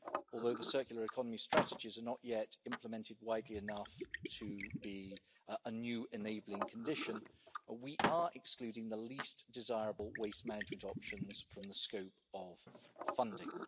Although the circular economy strategies are not yet implemented widely enough to be a new enabling condition, we are excluding the least desirable waste management options from the scope of funding.